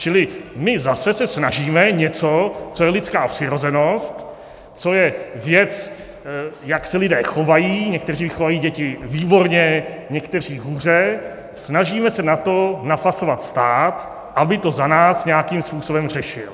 Čili my se zase snažíme něco, co je lidská přirozenost, co je věc, jak se lidé chovají, někteří vychovají děti výborně, někteří hůře - snažíme se na to napasovat stát, aby to za nás nějakým způsobem řešil.